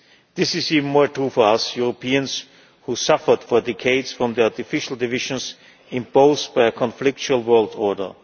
dismiss. This is even more true for us Europeans, who suffered for decades from the artificial divisions imposed by a conflictual world